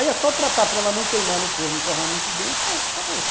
Aí é só tratar para ela não queimar no forno e torrar muito bem e pronto, acabou-se.